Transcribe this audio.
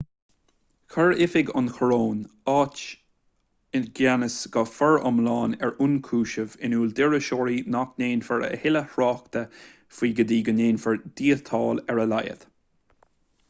chuir oifig an choróin atá i gceannas go foriomlán ar ionchúisimh in iúl d'iriseoirí nach ndéanfar a thuilleadh tráchta faoi go dtí go ndéanfar díotáil ar a laghad